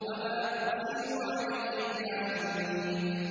وَمَا أُرْسِلُوا عَلَيْهِمْ حَافِظِينَ